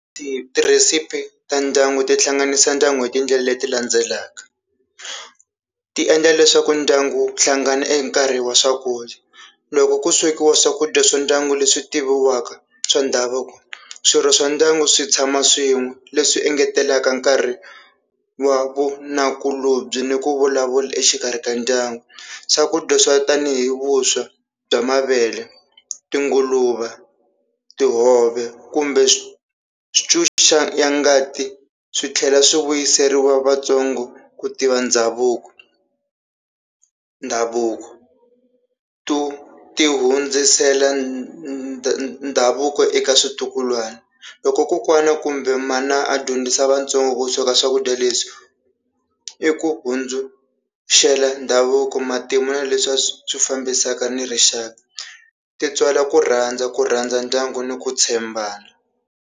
Ti tirhisipi ta ndyangu ti hlanganisa ndyangu hi tindlela leti landzelaka, ti endla leswaku ndyangu wu hlangana hi nkarhi wa swakudya, loko ku swekiwa swakudya swa ndyangu leswi tiviwaka swa ndhavuko swirho swa ndyangu swi tshama swin'we leswi engetelaka nkarhi wa vunakulobye ni ku vulavula exikarhi ka ndyangu, swakudya swa tanihi vuswa bya mavele, tinguluva, tihove, kumbe swi ya ngati swi tlhela swi vuyiseriwa vatsongo ku tiva ndhavuko, ndhavuko to ti hundzisela ndhavuko eka switukulwana loko kokwana kumbe mana a dyondzisa vatsongo ku sweka swakudya leswi, i ku hundzuxela ndhavuko matimu na leswi a swi fambisaka ni rixaka ti tswala ku rhandza ku rhandza ndyangu ni ku tshembana.